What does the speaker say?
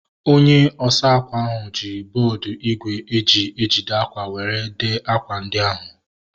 Onye osa akwa ahu ji bọọdu igwe e ji ede akwa were dee akwa ndi ahu